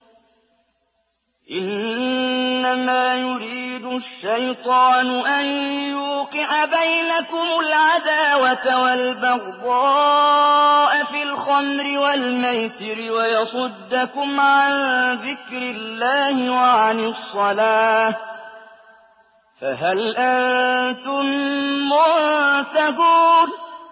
إِنَّمَا يُرِيدُ الشَّيْطَانُ أَن يُوقِعَ بَيْنَكُمُ الْعَدَاوَةَ وَالْبَغْضَاءَ فِي الْخَمْرِ وَالْمَيْسِرِ وَيَصُدَّكُمْ عَن ذِكْرِ اللَّهِ وَعَنِ الصَّلَاةِ ۖ فَهَلْ أَنتُم مُّنتَهُونَ